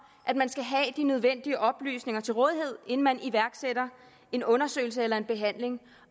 at man skal have de nødvendige oplysninger til rådighed inden man iværksætter en undersøgelse eller en behandling